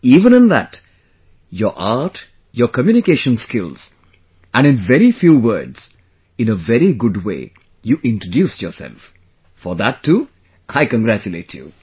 even in that... your art, your communication skills and in very few words, in a very good way you introduced yourself, for that too I congratulate you